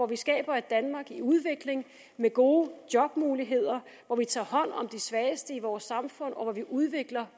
vi skaber et danmark i udvikling med gode jobmuligheder hvor vi tager hånd om de svageste i vores samfund og hvor vi udvikler